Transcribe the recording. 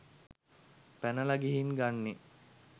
පැනල ගිහින් ගන්නේ